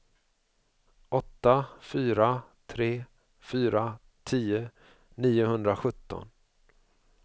åtta fyra tre fyra tio niohundrasjutton